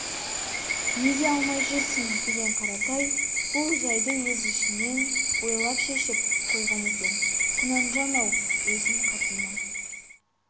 неге алмай жүрсің деген қаратай бұл жайды өз ішінен ойлап шешіп қойған екен құнанжан-ау өзім қатынмын